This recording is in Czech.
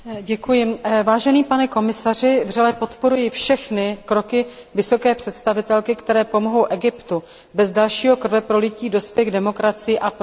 Vážený pane komisaři, vřele podporuji všechny kroky vysoké představitelky, které pomohou Egyptu bez dalšího krveprolití dospět k demokracii a prosperitě.